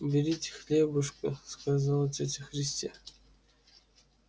берите хлебушко сказала тётя христя